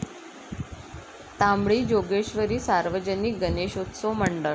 तांबडी जोगेश्वरी सार्वजनिक गणेशोत्सव मंडळ